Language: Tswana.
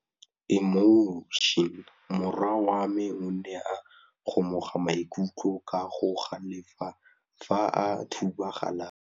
Morwa wa me o ne a kgomoga maikutlo ka go galefa fa a thuba galase.